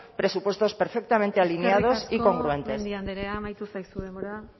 presupuestos perfectamente alineados y congruentes eskerrik asko mendia andrea amaitu zaizu denbora